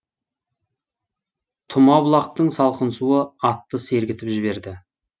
тұма бұлақтың салқын суы атты сергітіп жіберді